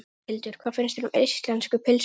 Þórhildur: Hvað finnst þér um íslensku pylsuna?